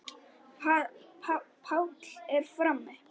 Páll er frammi.